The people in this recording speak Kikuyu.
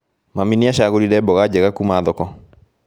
Mami nĩacagũrire mboga njega kuma thoko